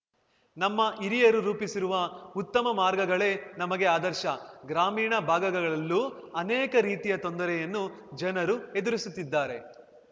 ನಮ್ಮ ಹಿರಿಯರು ರೂಪಿಸಿರುವ ಉತ್ತಮ ಮಾರ್ಗಗಳೇ ನಮಗೆ ಆದರ್ಶ ಗ್ರಾಮೀಣ ಭಾಗಗಳಲ್ಲೂ ಅನೇಕ ರೀತಿಯ ತೊಂದರೆಯನ್ನು ಜನರು ಎದುರಿಸುತ್ತಿದ್ಧಾರೆ